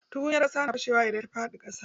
Tukunyar ƙasa na fashe wa idan ta faɗi a ƙasa.